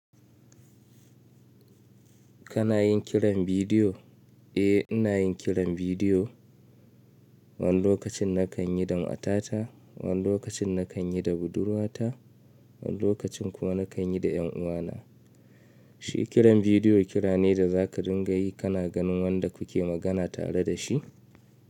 Kana yin kiran bidiyo? Eh ina yin kiran bidiyo. Wani lokacin na kan yi da matata, wani lokacin na kan yi da budurwata, wani lokacin kuma na kan yi da 'yan uwana. Shi kiran bidiyo kira ne da za ka ringa yi kana ganin wanda kuke magana tare da shi.